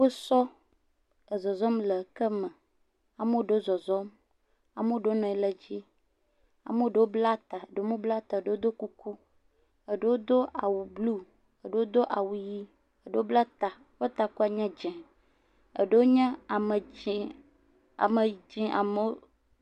Kpɔ ezɔzɔm le eke me ame aɖewo ezɔzɔm, ame aɖewo nɔ anyi ɖe edzi. Ame aɖewo bla ta eɖewo mebla ta o, eɖewo do kuku, eɖewo do awu blu, eɖewo do awu ʋi, eɖewo bla ta. Eƒe takua nye dze, eɖewo nye ame dzi ame dzi amewo.